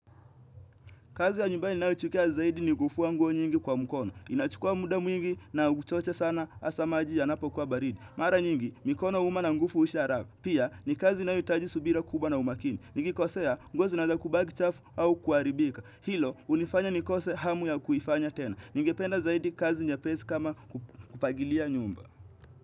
Kazi ya nyumbani ninayoichukia zaidi ni kufua nguo nyingi kwa mkono. Inachukua muda mwingi na uchoche sana hasa maji yanapokuwa baridi. Mara nyingi, mikono huuma na nguvu hiusha haraka. Pia, ni kazi inayohitaji subira kubwa na umakini. Nikikosea, nguo zinaeza kubaki chafu au kuharibika. Hilo hunifanya nikose hamu ya kuifanya tena. Ningependa zaidi kazi nyepesi kama kufagilia nyumba.